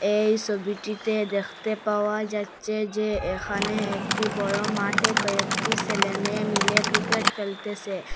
এই সবিটিতে দেখতে পাওয়া যাচ্ছে যে এখানে একটি বড়ো মাঠে কয়েকটি সেলে মেয়ে মিলে ক্রিকেট খেলতেসে।